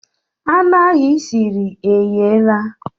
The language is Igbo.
Anụ ahụ i siri egheela.